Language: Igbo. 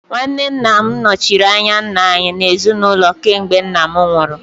Nwanne Nna m nọchiri anya nna anyị n'ezinụlọ kemgbe nna m nwụrụ